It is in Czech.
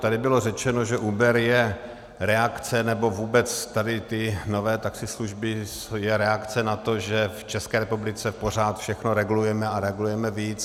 Tady bylo řečeno, že Uber je reakce, nebo vůbec tady ty nové taxislužby jsou reakce na to, že v České republice pořád všechno regulujeme a regulujeme víc.